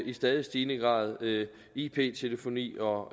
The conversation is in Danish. i stadig stigende grad ip ip telefoni og